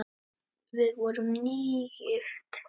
Við vorum nýgift!